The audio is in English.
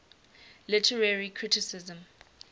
literary criticism